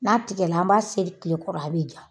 N'a tigɛla an b'a seri tile kɔrɔ a bɛ ja